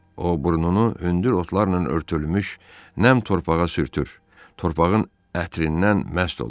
O burnunu hündür otlarla örtülmüş nəm torpağa sürtür, torpağın ətrindən məst olurdu.